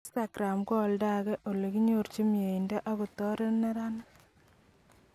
Instagram koaldoke koelekinyorchin mieindo akoyoreti nerenik